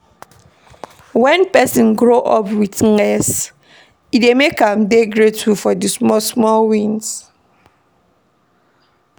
When person grow up with less, e dey make am dey grateful for di small small wins